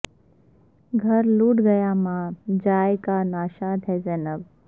گھر لٹ گیا ماں جائے کا ناشاد ھے ذینب